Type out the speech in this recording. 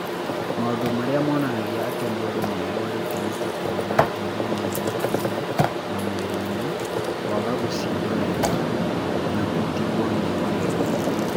Maũndũ marĩa monanagia atĩ mũndũ nĩ arũarĩte nĩ ta kũgĩa na njuĩrĩ nini mũtwe-inĩ na mwĩrĩ-inĩ, kwaga gũcinda wega, na gũtigwo nĩ magego.